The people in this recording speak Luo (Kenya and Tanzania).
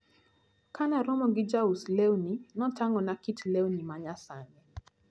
Kanaromo gi jaus lewni, notang`ona kit lewni manyasani.